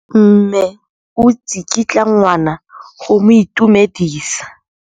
Mme o tsikitla ngwana go mo itumedisa.